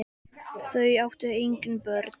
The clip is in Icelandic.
Þau áttu engin börn.